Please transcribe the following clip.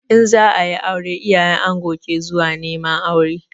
In za a yi aure, iyayen ango ke zuwa neman aure.